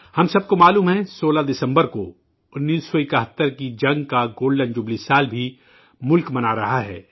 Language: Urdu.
ہم سب کو معلوم ہے کہ 16 دسمبر کو1971 کی جنگ کی گولڈن جوبلی بھی ملک منا رہا ہے